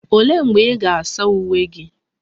Olee mgbe ị ga-asa uwe gị?